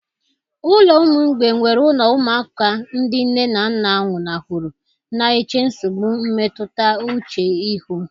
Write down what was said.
Ụlọ ụmụ mgbei nwere ụlọ ụmụaka ndị nne na nna nwụnahụrụ, na-eche nsogbu mmetụta uche ihu.